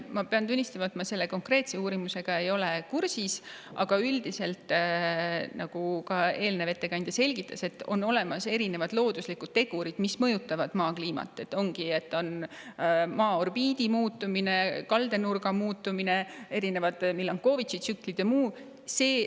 Ma pean tunnistama, et ma selle konkreetse uurimusega ei ole kursis, aga üldiselt, nagu ka eelnev ettekandja selgitas, on olemas erinevad looduslikud tegurid, mis mõjutavad Maa kliimat: Maa orbiidi muutumine, kaldenurga muutumine, erinevad Milankovići tsüklid ja muud.